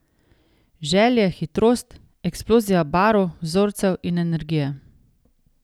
Želje, hitrost, eksplozija barv, vzorcev in energije.